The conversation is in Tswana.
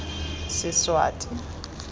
seswati